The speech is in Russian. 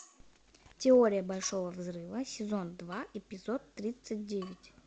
теория большого взрыва сезон два эпизод тридцать девять